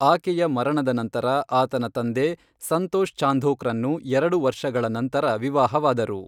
ಆಕೆಯ ಮರಣದ ನಂತರ, ಆತನ ತಂದೆ ಸಂತೋಷ್ ಚಾಂಧೋಕ್ರನ್ನು ಎರಡು ವರ್ಷಗಳ ನಂತರ ವಿವಾಹವಾದರು.